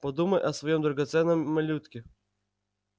подумай о своём драгоценном малютке